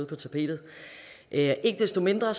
på tapetet ikke desto mindre